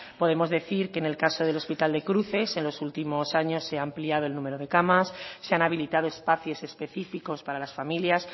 podemos decir que en el caso del hospital de cruces en los últimos años se ha ampliado el número de camas se han habilitado espacios específicos para las familias